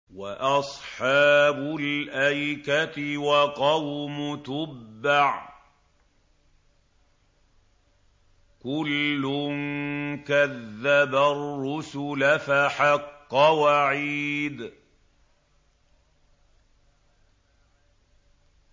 وَأَصْحَابُ الْأَيْكَةِ وَقَوْمُ تُبَّعٍ ۚ كُلٌّ كَذَّبَ الرُّسُلَ فَحَقَّ وَعِيدِ